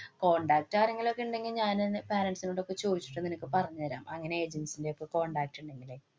contacts ആരെങ്കിലും ഉണ്ടെങ്കില്‍ ഞാനെന്‍റെ parents നോടൊക്കെ ചോദിച്ചിട്ട് നിനക്ക് പറഞ്ഞു തരാം. അങ്ങനെ agents ന്‍റെ ഒക്കെ contact ഇണ്ടെങ്കിലേ